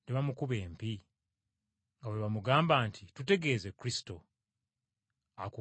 nga bwe bamugamba nti, “Tutegeeze, Kristo, akukubye y’aluwa?”